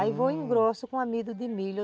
Aí, vou e engrosso com amido de milho.